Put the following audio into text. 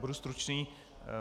Budu stručný.